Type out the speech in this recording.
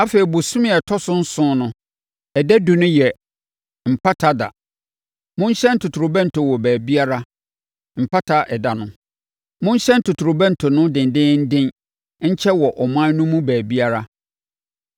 Afei, bosome a ɛtɔ so nson no ɛda edu no yɛ Mpata Ɛda. Monhyɛn totorobɛnto wɔ baabiara. Mpata Ɛda no, monhyɛn totorobɛnto no dendeenden nkyɛ wɔ ɔman no mu baabiara.